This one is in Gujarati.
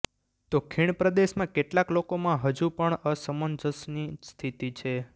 તો ખીણ પ્રદેશમાં કેટલાક લોકોમાં હજુ પણ અસમંજસની સ્થિતિ છે